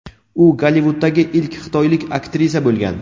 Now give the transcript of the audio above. U Gollivuddagi ilk xitoylik aktrisa bo‘lgan.